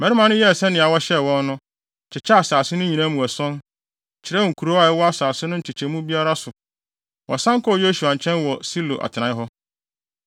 Mmarima no yɛɛ sɛnea wɔhyɛɛ wɔn no, kyekyɛɛ asase no nyinaa mu ason, kyerɛw nkurow a ɛwɔ asase no nkyekyɛ mu biara so. Wɔsan kɔɔ Yosua nkyɛn wɔ Silo atenae hɔ.